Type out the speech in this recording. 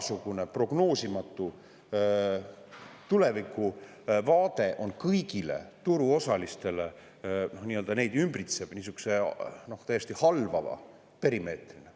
Milline prognoosimatu tulevikuvaade ümbritseb kõiki turuosalisi niisuguse täiesti halvava perimeetrina.